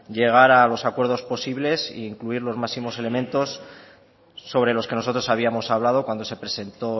llegar a los acuerdos posibles e incluir los máximos elementos sobre los que nosotros habíamos hablado cuando se presentó